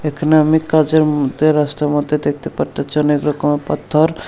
এখানে আমি কাজের মধ্যে রাস্তার মধ্যে দেখতে পারতাছি অনেক রকমের পাত্থর ।